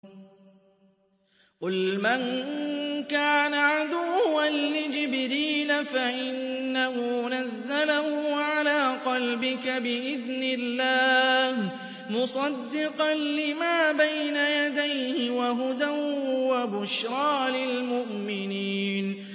قُلْ مَن كَانَ عَدُوًّا لِّجِبْرِيلَ فَإِنَّهُ نَزَّلَهُ عَلَىٰ قَلْبِكَ بِإِذْنِ اللَّهِ مُصَدِّقًا لِّمَا بَيْنَ يَدَيْهِ وَهُدًى وَبُشْرَىٰ لِلْمُؤْمِنِينَ